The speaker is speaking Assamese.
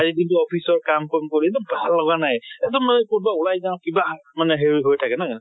আজি দিনতো office ৰ কাম কম কৰিলো, ভাল লগা নাই । কʼত বা ওলাই যাওঁ কা কিবা মানে হেৰি হৈ থাকে নহয় জানো?